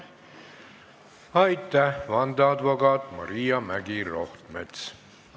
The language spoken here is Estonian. Aitäh, vandeadvokaat Maria Mägi-Rohtmets!